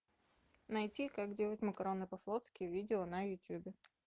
найти как делать макароны по флотски видео на ютубе